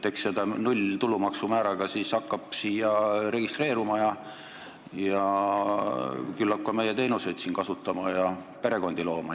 Eks seda nullmääraga tulumaksu hakatakse ära kasutama, hakatakse siia registreeruma ja küllap ka meie teenuseid siin kasutama ja oma perekondi siia tooma.